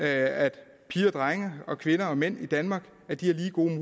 at piger og drenge og kvinder og mænd i danmark har lige gode